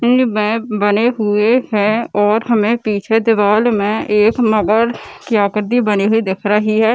इनमें बने हुए हैं और हमें पीछे दीवार में एक मगर की आकृति बनी हुई दिख रही है।